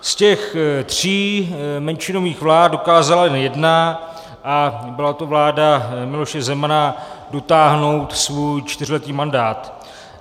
Z těch tří menšinových vlád dokázala jen jedna, a byla to vláda Miloše Zemana, dotáhnout svůj čtyřletý mandát.